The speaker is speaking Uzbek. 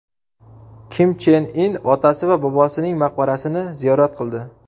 Kim Chen In otasi va bobosining maqbarasini ziyorat qildi.